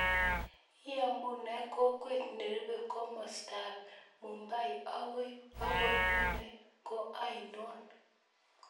Iamunee kokwet nerupe komosto ap mumbai agoi pune ko ainon